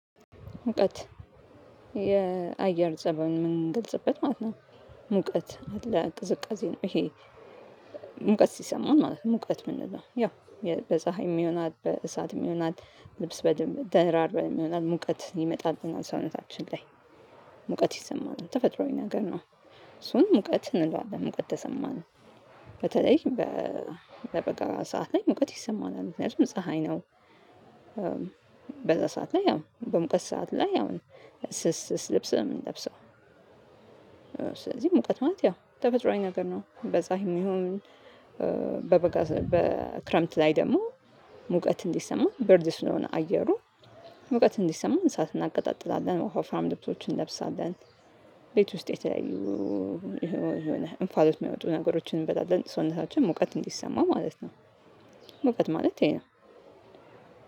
ሙቀት የአየር ፀባይ የምንገልጽበት ማለት ነው። ሙቀት አለ ቅዝቃዜ ይሄ። ሙቀት ሲሰማን ማለት ነው ሙቀት የምንለው ያው። በጸሀይም ይሆናል በእሳትም ይሆናል ልብስ ደራርበን ይሆናል ሙቀት ይመጣብናል ሰውነታችን ላይ። ሙቀት ይሰማናል ተፈጥሯዊ ነገር ነው። እሱን ሙቀት እንለዋለን ሙቀት ተሰማን። በተለይ በበጋ ሰዓት ላይ ሙቀት ይሰማናል ምክንያቱም ፀሀይ ነው። በዛ ሰዓት ላይ አዎ በሙቀት ሰዓት ላይ አዎ ስስ ስስ ልብስ ነው የምንለብሰው። ስለዚህ ሙቀት ማለት ያው ተፈጥሮአዊ ነገር ነው በጸሃይም ይሁን። በበጋ በክረምት ላይ ደግሞ ሙቀት እንዲሰማ ብርድ ስለሆነ አየሩ እውቀት እንዲሰማን እሳት እናቀጣጥላለን ወፋፍራም ልብሶችን እንለብሳለን። ቤት ውስጥ የተለያዩ የሆነ የሆነ እንፋሎት የሚያወጡ ነገሮችን እንበላለን ሰውነታችን ሙቀት እንዲሰማ ማለት ነው ማለት ሙቀት ማለት ይሄ ነው።